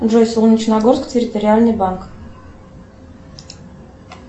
джой солнечногорск территориальный банк